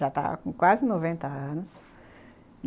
Já tava com quase noventa anos.